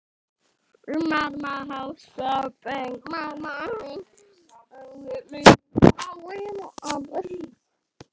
Þau eiga soninn Sverri.